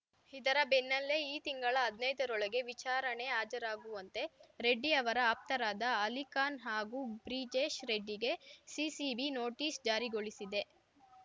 ಇದರ ಬೆನ್ನಲ್ಲೇ ಈ ತಿಂಗಳ ಹದ್ನೈದರೊಳಗೆ ವಿಚಾರಣೆ ಹಾಜರಾಗುವಂತೆ ರೆಡ್ಡಿ ಅವರ ಆಪ್ತರಾದ ಅಲಿಖಾನ್‌ ಹಾಗೂ ಬ್ರಿಜೇಶ್‌ ರೆಡ್ಡಿಗೆ ಸಿಸಿಬಿ ನೋಟಿಸ್‌ ಜಾರಿಗೊಳಿಸಿದೆ